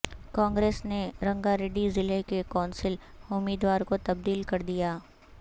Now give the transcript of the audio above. کانگریس نے رنگا ریڈی ضلع کے کونسل امیدوار کو تبدیل کردیا